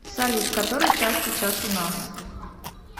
салют который час сейчас у нас